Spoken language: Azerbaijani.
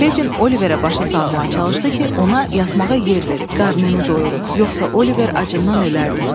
Fecin Oliverə başa salmağa çalışdı ki, ona yatmağa yer verib, qarnını doyurub, yoxsa Oliver acından ölərdi.